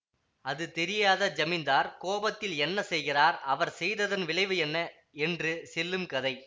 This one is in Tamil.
அது தெரியாத ஜமீன்தார் கோபத்தில் என்ன செய்கிறார் அவர் செய்ததன் விளைவு என்ன என்று செல்லும் கதை